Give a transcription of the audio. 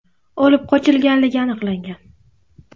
olib qochganligi aniqlangan.